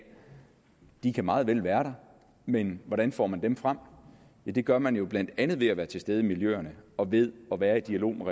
de meget vel kan være der men hvordan får man dem frem ja det gør man jo blandt andet ved at være til stede i miljøerne og ved at være i dialog med